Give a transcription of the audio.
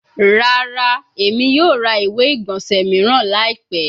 Rara, Emi yoo ra iwe-igbọnsẹ miiran laipẹ